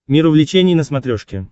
мир увлечений на смотрешке